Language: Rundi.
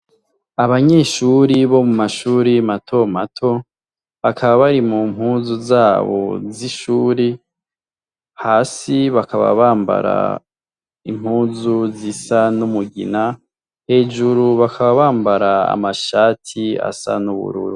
Abanyeshuri bo mu mashuri matomato bakaba bari mu mpuzu zabo z'ishuri hasi bakaba bambara impuzu zisa n'umugina hejuru bakaba bambara amashati asa n'ubururu.